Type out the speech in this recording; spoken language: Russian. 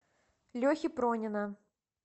лехи пронина